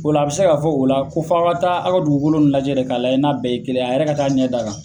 O la a bɛ se ka fɔ o la ko f'a ka taa a' ka dugukolo lajɛ de k'a lajɛ n'a bɛɛ ye kelen ye a yɛrɛ ka taa ɲɛ d'a kan.